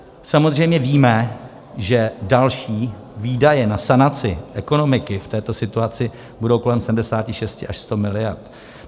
Samozřejmě víme, že další výdaje na sanaci ekonomiky v této situaci budou kolem 76 až 100 mld.